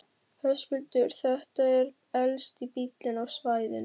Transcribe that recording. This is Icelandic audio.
Höskuldur: Þetta er elsti bíllinn á svæðinu?